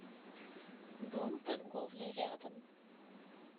дом торговли рядом